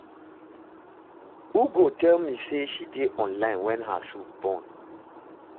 Ugo tell me say she dey online wen her soup burn